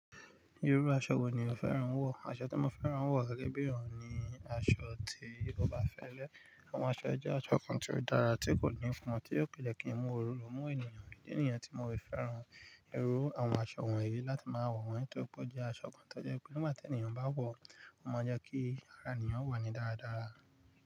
Irú aṣọ wo ni o fẹ́ran wọ̀? Aṣọ tí mo fẹ́ran wọ̀ gẹ́gẹ́ bí èyàn ni aṣọ ti ó bá fẹ́lẹ́. Àwọn aṣọ ẹ jẹ́ aṣọ kan tí ó dára, tí kò ní fùn, tí yóò pẹ̀lẹ́ kí n mú òróró mú ènìyàn. Bí ó ní ènìyàn tí mo bá fẹ́ran irú àwọn aṣọ wọ̀nyí láti máa wọ̀ wọ́n nítorí pé ó jẹ́ aṣọ kan tó jẹ́ pé nígbà tí ènìyàn bá wọ̀, ó máa ń jẹ́ kí ara ènìyàn wọ̀ni dára dára.